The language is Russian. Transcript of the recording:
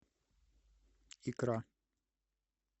икра